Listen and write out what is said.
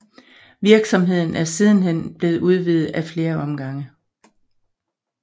Virksomheden er sidenhen blevet udvidet ad flere omgange